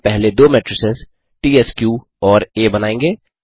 हम पहले दो मेट्रिसेस त्स्क और आ बनायेंगे